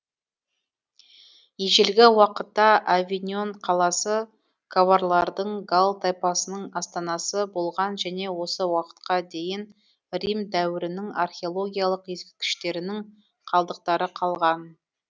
ежелгі уақытта авиньон қаласы каварлардың галл тайпасының астанасы болған және осы уақытқа дейін рим дәуірінің археологиялық ескерткіштерінің қалдықтары қалған